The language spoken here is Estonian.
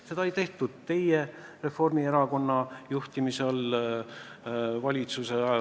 Seda ei tehtud teie, Reformierakonna juhtimise all, teie valitsuse ajal.